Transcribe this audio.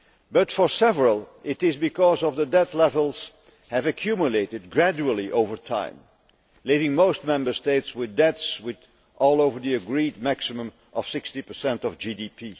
But for several, it is because debt levels have accumulated gradually over time, leaving most Member States with debts well over the agreed maximum of 60 of GDP.